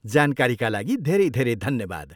जानकारीका लागि धेरै धेरै धन्यवाद।